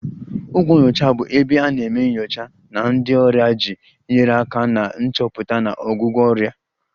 Ụlọ nyocha bụ ebe a na-eme nyocha na ndị ọrịa iji nyere aka na nchọpụta na ọgwụgwọ ọrịa